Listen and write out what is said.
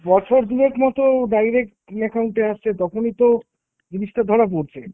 বছর দুয়েক মতো direct account এ আসছে, তখনই তো জিনিসটা ধরা পড়ছে।